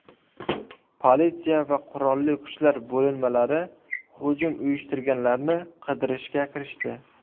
Politsiya va qurolli kuchlar bo‘linmalari hujum uyushtirganlarni qidirishga kirishdi.